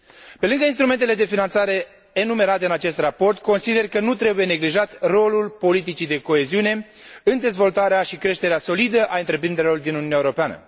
Pe lângă instrumentele de finanțare enumerate în acest raport, consider că nu trebuie neglijat rolul politicii de coeziune în dezvoltarea și creșterea solidă a întreprinderilor din Uniunea Europeană.